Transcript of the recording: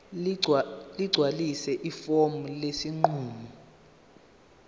ligcwalise ifomu lesinqumo